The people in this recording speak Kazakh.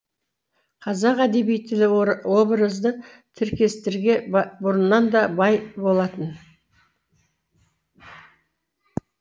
қазақ әдеби тілі образды тіркестерге бұрыннан да бай болатын